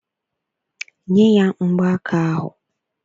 Nye ya mgbaaka ahụ!